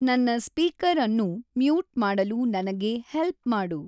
ನನ್ನ ಸ್ಪೀಕರ್‌ ಅನ್ನು ಮ್ಯೂಟ್ ಮಾಡಲು ನನಗೆ ಹೆಲ್ಪ್ ಮಾಡು